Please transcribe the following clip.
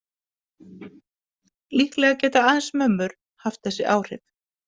Líklega geta aðeins mömmur haft þessi áhrif.